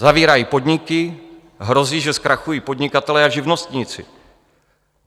Zavírají podniky, hrozí, že zkrachují podnikatelé a živnostníci.